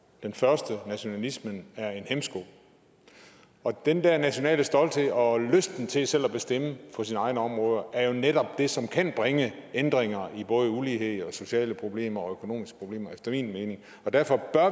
den første nationalismen er en hæmsko den der nationale stolthed og lysten til selv at bestemme på sine egne områder er jo netop det som kan bringe ændringer i både ulighed og sociale problemer og økonomiske problemer efter min mening derfor bør